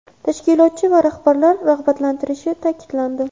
tashkilotchi va rahbarlar rag‘batlantirilishi ta’kidlandi.